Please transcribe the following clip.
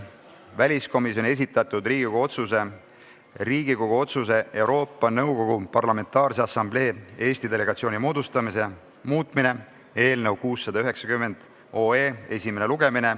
Väliskomisjoni esitatud Riigikogu otsuse "Riigikogu otsuse "Euroopa Nõukogu Parlamentaarse Assamblee Eesti delegatsiooni moodustamine" muutmine" eelnõu 690 esimene lugemine.